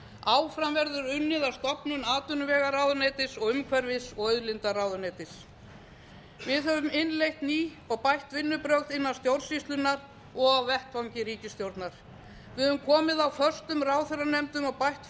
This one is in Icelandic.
áfram verður unnið að stofnun atvinnuvegaráðuneytis og umhverfis og auðlindaráðuneytis við höfum innleitt ný og bætt vinnubrögð innan stjórnsýslunnar og á vettvangi ríkisstjórnar við höfum komið á föstum ráðherranefndum og bætt